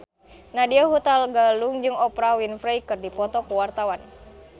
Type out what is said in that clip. Nadya Hutagalung jeung Oprah Winfrey keur dipoto ku wartawan